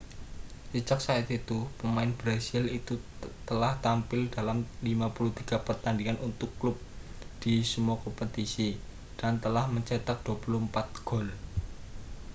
sejak saat itu pemain brasil itu telah tampil dalam 53 pertandingan untuk klub di semua kompetisi dan telah mencetak 24 gol